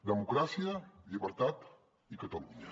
democràcia llibertat i catalunya